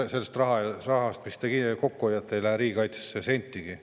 –, et sellest rahast, mis te kokku hoiate, ei lähe riigikaitsesse sentigi.